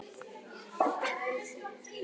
Gos og salt valda hjartaáföllum